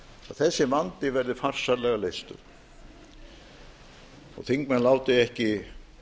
þessi vandi verði farsællega leystur og þingmenn láti ekki